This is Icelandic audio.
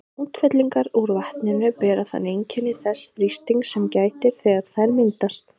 Útfellingar úr vatninu bera þannig einkenni þess þrýstings sem gætir þegar þær myndast.